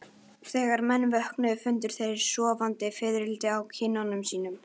Þegar menn vöknuðu fundu þeir sofandi fiðrildi á kinnum sínum.